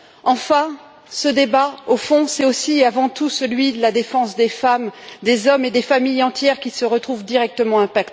Enfin, ce débat, au fond, c'est aussi et avant tout celui de la défense des femmes, des hommes et des familles entières qui se retrouvent directement touchés.